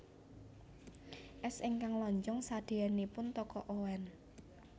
Es ingkang lonjong sadeyanipun Toko Oen